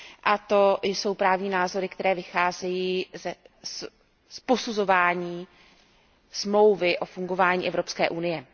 A to jsou právní názory, které vycházejí z posuzování Smlouvy o fungování Evropské unie.